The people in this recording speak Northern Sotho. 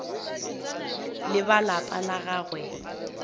le ba lapa la gagwe